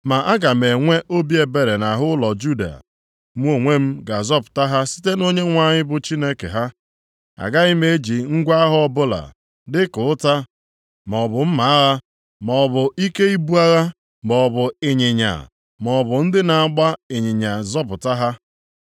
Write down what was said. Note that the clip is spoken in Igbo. Ma aga m enwe obi ebere nʼahụ ụlọ Juda. Mụ onwe m ga-azọpụta ha site na Onyenwe anyị bụ Chineke ha. Agaghị m eji ngwa agha ọbụla, dịka ụta maọbụ mma agha maọbụ ike ibu agha maọbụ ịnyịnya maọbụ ndị na-agba ịnyịnya zọpụta ha.”